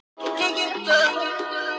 Perlan að leggja af stað